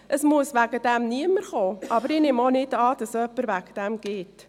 Es muss deswegen niemand kommen, aber ich nehme auch nicht an, dass jemand deswegen geht.